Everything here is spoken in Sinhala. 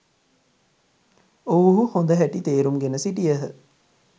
ඔවුහු හොඳ හැටි තේරුම් ගෙන සිටියහ.